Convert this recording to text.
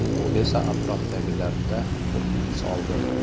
Bu esa atrofdagilarda qo‘rquv soldi.